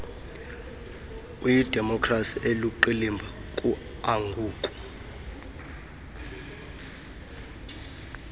uyidemokrasi eluqilima kuangoku